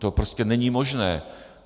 To prostě není možné.